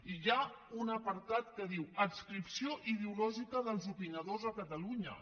i hi ha un apartat que diu adscripció ideològica dels opinadors a catalunya